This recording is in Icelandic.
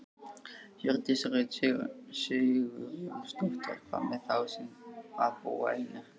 Hjördís Rut Sigurjónsdóttir: Hvað með þá sem að búa einir?